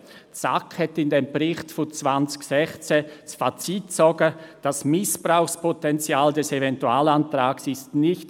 Die SAK zog im Bericht 2016 das Fazit, «Das Missbrauchspotential des Eventualantrags ist […